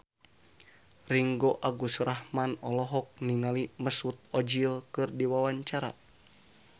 Ringgo Agus Rahman olohok ningali Mesut Ozil keur diwawancara